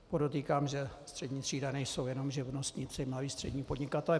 Podotýkám, že střední třída nejsou jenom živnostníci, malí, střední podnikatelé.